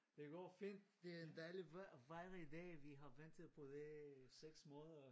Det går fint det er en dejlig vejr og fejre i dag vi har ventet på det i 6 måneder